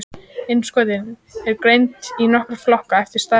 Innskotin eru greind í nokkra flokka eftir stærð og lögun.